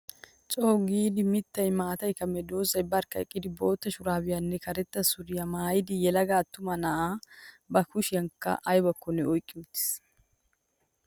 Co"u giida mittayi maatayi kumidosan barkka eqqida bootta shuraabiyaaranne karetta suriyaa maayyida yelaga attuma na"aa. Ba kushiyankka ayibakkonne oyiqqi uttis.